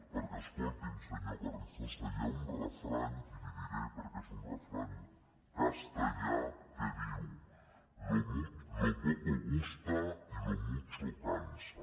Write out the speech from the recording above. perquè escolti’m senyor carrizosa hi ha un refrany i l’hi diré perquè és un refrany castellà que diu lo poco gusta y lo mucho cansa